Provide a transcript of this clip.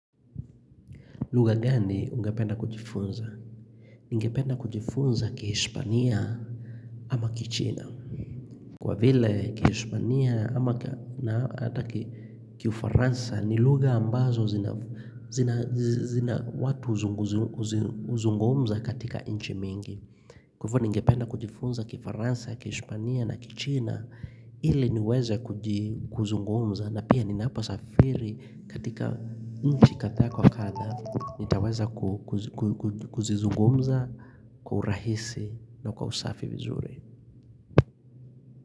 Lugha gani ungependa kujifunza? Ningependa kujifunza kihishpania ama kichina. Kwa vile kihishpania ama hata kifaransa ni lugha ambazo zina watu uzungumza katika inchi mingi. Kwa ivo ningependa kujifunza kifaransa, kihishpania na kichina ili niweza kuzungumza na pia ninaposafiri katika nchi kadha kwa kadha nitaweza kuzizungumza kwa urahisi na kwa usafi vizuri.